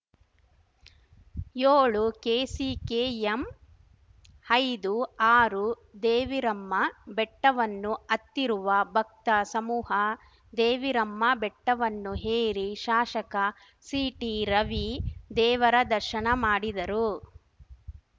ಯೋಳು ಕೆಸಿಕೆಎಂ ಹೈದು ಆರು ದೇವಿರಮ್ಮ ಬೆಟ್ಟವನ್ನು ಹತ್ತಿರುವ ಭಕ್ತ ಸಮೂಹ ದೇವಿರಮ್ಮ ಬೆಟ್ಟವನ್ನು ಏರಿ ಶಾಷಕ ಸಿಟಿ ರವಿ ದೇವರ ದರ್ಶನ ಮಾಡಿದರು